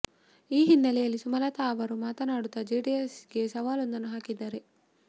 ಈ ಹಿನ್ನೆಲೆಯಲ್ಲಿ ಸುಮಲತ ಅವರು ಮಾತನಾಡುತ್ತಾ ಜೆಡಿಎಸ್ ಗೆ ಸವಾಲೊಂದನ್ನು ಹಾಕಿದ್ದಾರೆ